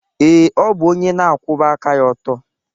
Ee, ọ bụ onye na-akwụba aka ya ọtọ.